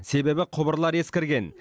себебі құбырлар ескірген